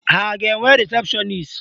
Ha ga-enwe rịsepshọnis?